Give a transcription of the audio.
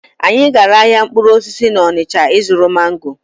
Anyị gara ahịa mkpụrụ osisi n'Ọnịcha ịzụrụ mango.